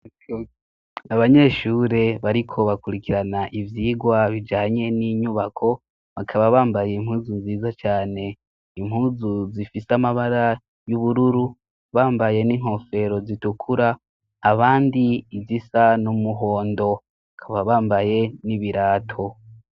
Abanyeshure bariko bakurikirana ivyigwa bijanye n'inyubako, bakaba bambaye impuzu nziza cane, impuzu zifise amabara y'ubururu ,bambaye n'inkofero zitukura abandi izisa n'umuhondo ,bakaba bambaye n'ibirato.